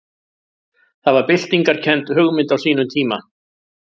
Það var byltingarkennd hugmynd á sínum tíma.